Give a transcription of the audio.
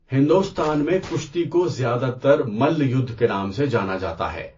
ہندوستان میں کشتی کو زیادہ تر ملّا یدھ کے نام سے جانا جاتا ہے۔